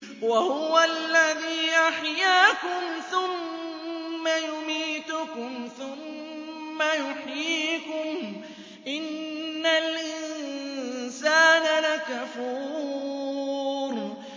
وَهُوَ الَّذِي أَحْيَاكُمْ ثُمَّ يُمِيتُكُمْ ثُمَّ يُحْيِيكُمْ ۗ إِنَّ الْإِنسَانَ لَكَفُورٌ